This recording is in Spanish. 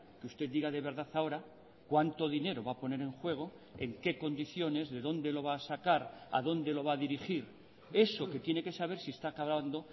que usted diga de verdad ahora cuánto dinero va a poner en juego en qué condiciones de dónde lo va a sacar a dónde lo va a dirigir eso que tiene que saber si esta acabando